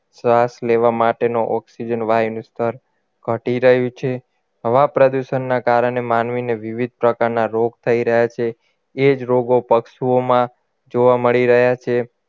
શ્વાસ લેવામાં માટેનો ઓક્સિજન વાયુનો સ્તર ઘટી રહ્યું છે હવા પ્રદૂષણના કારણે માનવીને વિવિધ પ્રકારના રોગ થઈ રહ્યા છે એ જ રોગો પશુઓમાં જોવા મળી રહ્યા છે